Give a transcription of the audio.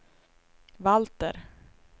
Valter